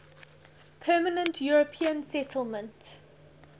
permanent european settlement